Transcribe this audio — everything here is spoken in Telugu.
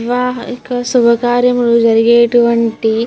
వివాహ ఇక శుభ కార్యములు జరిగేటువంటి --